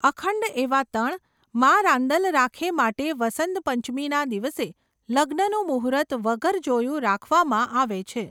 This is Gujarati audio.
અખંડ એવાતણ, માઁ રાંદલ રાખે માટે વસંતપંચમીના દિવસે લગ્નનું મુહૂર્ત વગર જોયું રાખવામાં આવે છે.